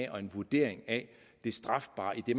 og en vurdering af det strafbare i det